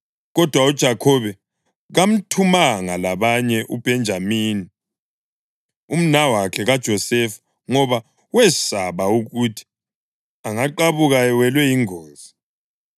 Kodwa uJakhobe kamthumanga labanye uBhenjamini, umnawakhe kaJosefa ngoba wesaba ukuthi angaqabuka ewelwa yingozi.